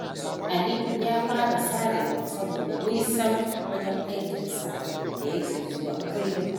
Ali ya fara sarewa, saboda nisan wajen aikinsa da yake zuwa kullum.